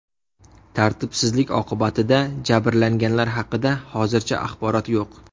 Tartibsizlik oqibatida jabrlanganlar haqida hozircha axborot yo‘q.